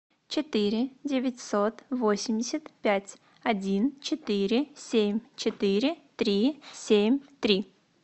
четыре девятьсот восемьдесят пять один четыре семь четыре три семь три